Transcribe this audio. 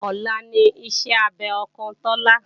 Ọ̀la ní ìṣe abẹ ọkàn Tọ́lá